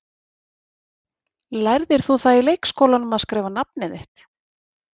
Lærðir þú það í leikskólanum, að skrifa nafnið þitt?